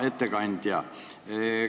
Hea ettekandja!